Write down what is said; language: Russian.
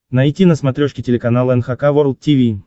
найти на смотрешке телеканал эн эйч кей волд ти ви